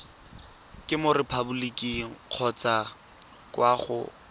mo repaboliking kgotsa kwa go